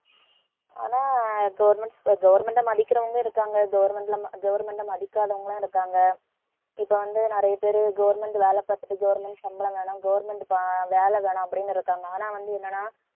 ஆனா government அஹ் மதிக்கறவங்க இருக்காங்க government ல government ஐ மதிக்காதவங்கெல்லாம் இருக்காங்க. இப்பவந்து நிறைய பேர் government வேலை பாத்துட்டு government சம்பளம் வேணும் government பா~ வேலை வேணும் அப்படின்னு இருக்காங்க ஆனா வந்து என்னென்னா